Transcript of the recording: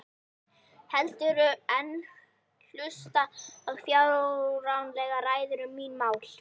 Heldur en hlusta á fáránlegar ræður um mín mál.